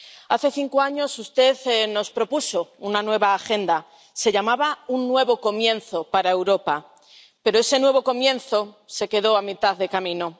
Hace cinco años, usted nos propuso una nueva agenda se llamaba Un nuevo comienzo para Europa, pero ese nuevo comienzo se quedó a mitad de camino.